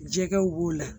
Jɛgɛw b'o la